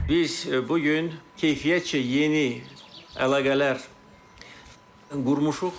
Biz bu gün keyfiyyətcə yeni əlaqələr qurmuşuq